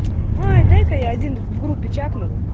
ой дай-ка я один в группе чакну